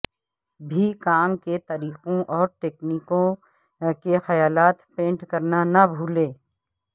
بھی کام کے طریقوں اور تکنیکوں کے خیالات پینٹ کرنا نہ بھولیں